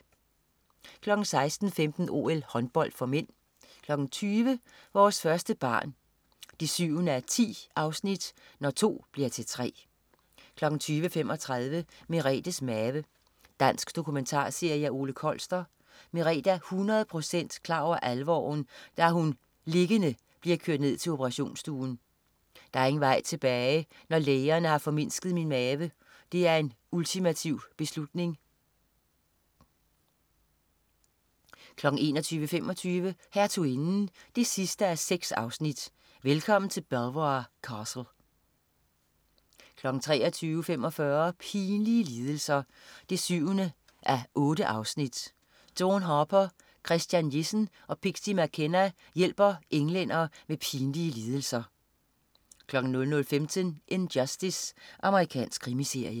16.15 OL: Håndbold (m) 20.00 Vores første barn 7:10. Når to bliver til tre 20.35 Merethes Mave. Dansk dokumentarserie af Ole Kolster. Merethe er 100 procent klar over alvoren, da hun liggende bliver kørt ned til operationsstuen. "Der er ingen vej tilbage, når lægerne har formindsket min mave. Det er en ultimativ beslutning." 21.25 Hertuginden 6:6. Velkommen til Belvoir Castle 23.45 Pinlige lidelser 7:8. Dawn Harper, Christian Jessen og Pixie McKenna hjælper englænder med deres pinlige lidelser 00.15 In Justice. Amerikansk krimiserie